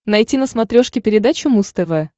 найти на смотрешке передачу муз тв